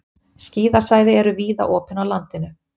Skíðasvæði eru víða opin á landinu